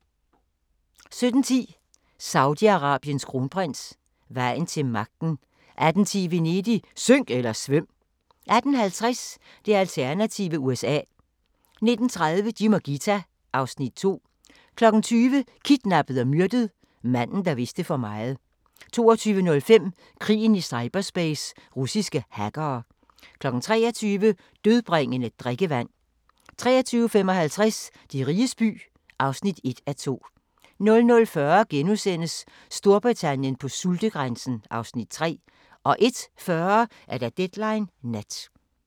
17:10: Saudi-Arabiens kronprins: Vejen til magten 18:10: Venedig – synk eller svøm! 18:50: Det alternative USA 19:30: Jim og Ghita (Afs. 2) 20:00: Kidnappet og myrdet: Manden, der vidste for meget 22:05: Krigen i cyberspace – russiske hackere 23:00: Dødbringende drikkevand 23:55: De riges by (1:2) 00:40: Storbritannien på sultegrænsen (Afs. 3)* 01:40: Deadline Nat